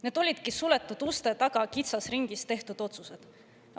Need olidki suletud uste taga kitsas ringis tehtud otsused.